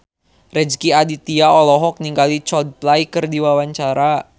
Rezky Aditya olohok ningali Coldplay keur diwawancara